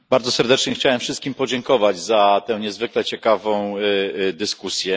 Bardzo serdecznie chciałem wszystkim podziękować za tę niezwykle ciekawą dyskusję.